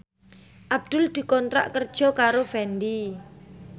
Abdul dikontrak kerja karo Fendi